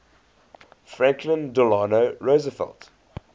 franklin delano roosevelt